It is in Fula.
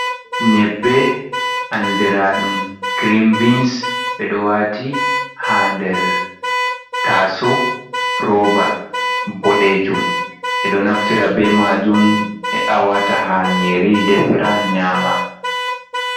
Nyebbe andiraɗum girin bins ɓe ɗo wati ha nder taso roba boɗejum ɓeɗo naftira be majum he’a wata ha nyiri defira nyama.